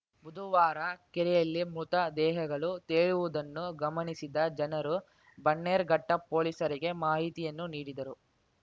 ಬುದುವಾರ ಕೆರೆಯಲ್ಲಿ ಮೃತ ದೇಹಗಳು ತೇಲುವುದನ್ನು ಗಮನಿಸಿದ ಜನರು ಬನ್ನೇರುಘಟ್ಟಪೋಲಿಸರಿಗೆ ಮಾಹಿತಿಯನ್ನು ನೀಡಿದರು